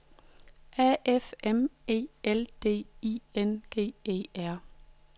A F M E L D I N G E R